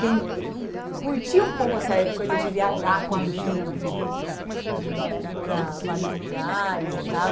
tem Curti um pouco essa coisa de viajar com amigos, de de ir para vários lugares e tal.